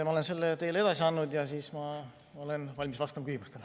Ma olen selle teile edasi andnud ja olen valmis vastama küsimustele.